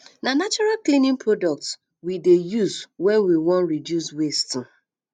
na natural cleaning products um we dey um use wen we wan reduce waste um